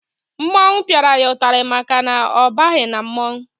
Mmọnwụ piara ya itari maka na ọ baghi na mmọnwụ